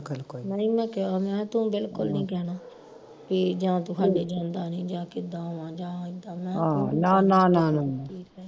ਨਹੀਂ ਮੈਂ ਕਿਹਾ ਮੈਂ ਤੂੰ ਬਿਲਕੁਲ ਨਹੀਂ ਕਹਿਣਾ ਕੇ ਜਾਂ ਤੂੰ ਹਾਡੇ ਨੀ ਆਉਂਦਾ ਨਹੀਂ ਜਾਂ ਕਿੱਦਾਂ ਵਾ ਜਾਂ ਇਦਾ